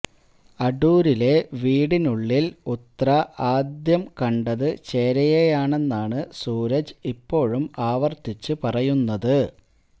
അടൂരിലെ വീടിനുള്ളിൽ ഉത്ര ആദ്യം കണ്ടത് ചേരയെയാണെന്നാണ് സൂരജ് ഇപ്പോഴും ആവര്ത്തിച്ച് പറയുന്നത്